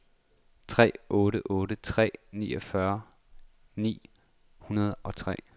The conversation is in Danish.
tre otte otte tre niogfyrre ni hundrede og tre